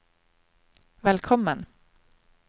velkommen